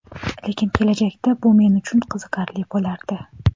Lekin kelajakda bu men uchun qiziqarli bo‘lardi.